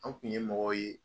An kun ye mɔgɔ ye